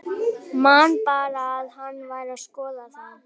Man bara að hann var að skoða þá.